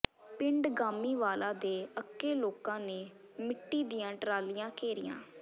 ਪਿੰਡ ਗਾਮੀਵਾਲਾ ਦੇ ਅੱਕੇ ਲੋਕਾਂ ਨੇ ਮਿੱਟੀ ਦੀਆਂ ਟਰਾਲੀਆਂ ਘੇਰੀਆਂ